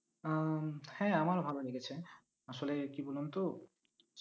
উম হ্যাঁ আমারও ভালো লেগেছে, আসলে কি বলুন তো